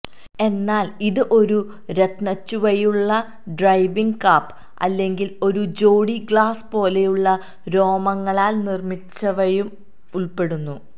എന്നാൽ ഇത് ഒരു രത്നച്ചുവയുള്ള ഡ്രൈവിംഗ് കാപ് അല്ലെങ്കിൽ ഒരു ജോടി ഗ്ലൌസ് പോലെയുള്ള രോമങ്ങളാൽ നിർമ്മിച്ചവയും ഉൾപ്പെടുന്നു